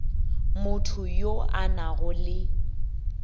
motho yo a nago le